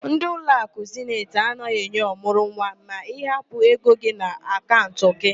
Ndi ụlọakụ Zeniti anaghị enye ọmụrụnwa ma ị hapụ ego gị n'akaụnt gị